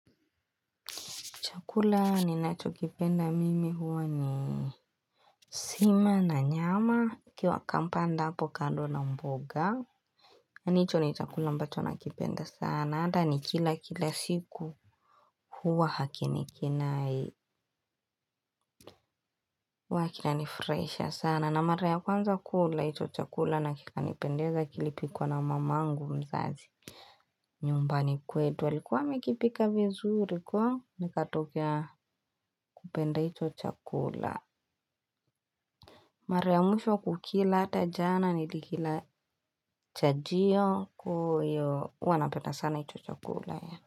Chakula ninacho kipenda mimi huwa ni sima na nyama ikiwa akampand hapo kando na mboga. Yaani hicho ni chakula ambacho nakipenda sana. Ata ni kila kila siku huwa hakinikinai. Huwa chani furahisha sana. Na mara kwanza kula hicho chakula na kikanipendeza kilipikwa na mamangu mzazi. Nyumbani kwetu alikua amekipika vizuri kwa nikatokea kupenda ito chakula. Mara ya mwisho kukila ata jana nilikilachajio huwa napenda sana hicho chakula.